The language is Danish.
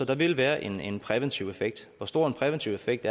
der vil være en præventiv effekt hvor stor en præventiv effekt